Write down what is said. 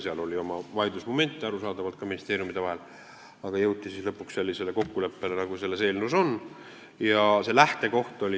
Seal oli arusaadavalt vaidlusmomente ka ministeeriumidel, aga lõpuks jõuti sellisele kokkuleppele, nagu selles eelnõus on.